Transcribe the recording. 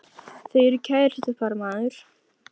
Þau eru kærustupar maður!